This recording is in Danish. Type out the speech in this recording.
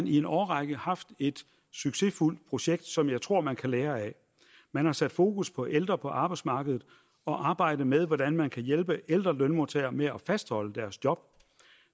i en årrække haft et succesfuldt projekt som jeg tror man kan lære af man har sat fokus på ældre på arbejdsmarkedet og arbejdet med hvordan man kan hjælpe ældre lønmodtagere med at fastholde deres job